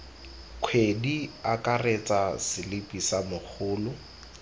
kgwedi akaretsa selipi sa mogolo